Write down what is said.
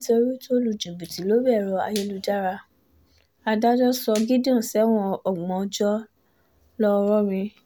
nítorí tó lu jìbìtì lórí ẹ̀rọ ayélujára adájọ́ sọ gideon sẹ́wọ̀n ọgbọ̀n ọjọ́ ńlọrọrin